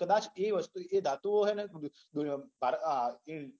કદાચ એ વસ્તુ એ ધાતુઓ હોય ને તો